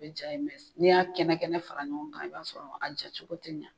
Bɛ ja ye n'i y'a kɛnɛ kɛnɛ fara ɲɔgɔn kan i b'a sɔrɔ a ja cogo te ɲa.